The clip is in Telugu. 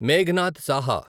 మేఘనాద్ సహా